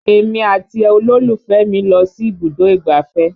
Èmi àti olólùfẹ́ mi lọ sí ibùdó ìgbáfẹ́